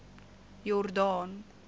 jordaan